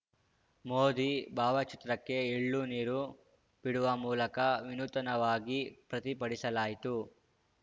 ಮೋದಿ ಭಾವಚಿತ್ರಕ್ಕೆ ಎಳ್ಳುನೀರು ಬಿಡುವ ಮೂಲಕ ವಿನೂತನವಾಗಿ ಪ್ರತಿಭಟಿಸಲಾಯಿತು